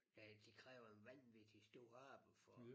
Ja det kræver en vanvittig stor arbejde for